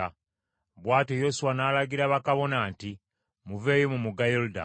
Bw’atyo Yoswa n’alagira bakabona nti, “Muveeyo mu mugga Yoludaani.”